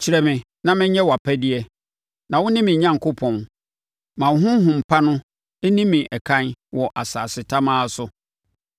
Kyerɛ me na menyɛ wʼapɛdeɛ, na wo ne me Onyankopɔn; ma wo honhom pa no nni me ɛkan wɔ asase tamaa so.